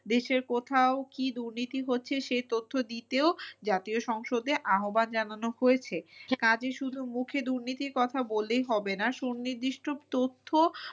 দেশের কোথাও কি দুর্নীতি হচ্ছে সে তথ্য দিতেও জাতীয় সংসদে আহ্বান জানানো হয়েছে। কাজে শুধু মুখে দুর্নীতির কথা বললেই হবে না সুনিদিষ্ট তথ্য